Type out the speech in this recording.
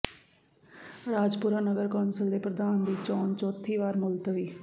ਰਾਜਪੁਰਾ ਨਗਰ ਕੌਂਸਲ ਦੇ ਪ੍ਰਧਾਨ ਦੀ ਚੋਣ ਚੌਥੀ ਵਾਰ ਮੁਲਤਵੀ